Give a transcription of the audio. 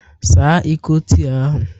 Saa Iko tii ahụ!